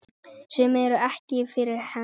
Sem eru ekki fyrir hendi.